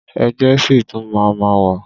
Ẹgbẹ́ ṣì tún máa ma wà.